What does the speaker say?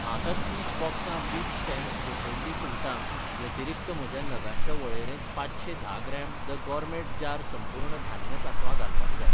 म्हाका तीस बॉक्सां बिग सॅम्स गोठयल्ली सुंगटां व्यतिरीक्त म्हज्या नगांच्या वळेरेंत पांचशें धा ग्राम द गॉरमेट जार संपूर्ण धान्य सासवां घालपाक जाय.